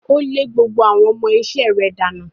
Ó lé gbogbo àwọn ọmọ iṣẹ́ rẹ̀ dànù.